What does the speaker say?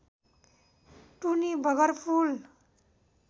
टुनी Bagar पुल